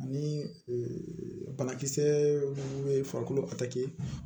Ani banakisɛ minnu bɛ farikolo takɛ